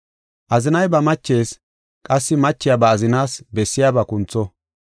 Azinay ba machees, qassi machiya ba azinaas bessiyaba kuntho.